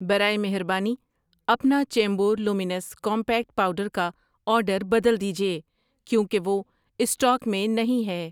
برائے مہربانی اپنا چیمبور لومینس کومپیکٹ پاؤڈر کا آرڈر بدل دیجیے کیوں کہ وہ اسٹاک میں نہیں ہے۔